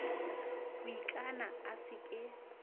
ho ikana a se ke